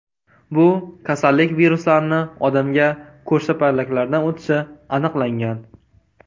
Bu kasallik viruslarini odamga ko‘rshapalaklardan o‘tishi aniqlangan.